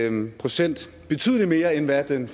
en procent betydelig mere end hvad den